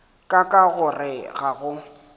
ka ka gore ga go